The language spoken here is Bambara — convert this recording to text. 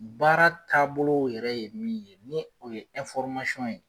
Baara taabolow yɛrɛ ye min ye ni o ye ye